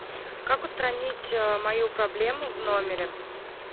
как устранить мою проблему в номере